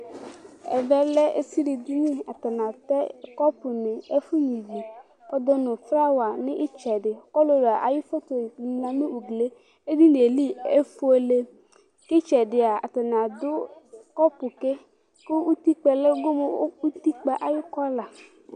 Ɛvɛlɛ ezili ɛdiní Atani atɛ kɔpu nu ɛfu nyʋivi nʋ flower nʋ itsɛdi kʋ ɔlʋlu ayʋ photo ɔlila nʋ ʋglie Ɛdiní li efʋele kʋ itsɛdi ya atani adu kɔpu ke kʋ ʋtikpa gomʋ ʋtikpa 'ɛ ayʋ kɔla